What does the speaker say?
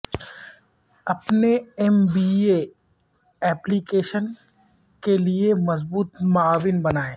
اپنے M B A application کے لئے مضبوط معاون بنائیں